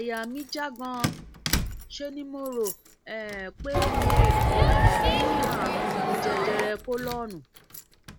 àyà mí já ganan ṣe ni mo rò um pé mo um ní àrùn jẹjẹrẹ kólọọnù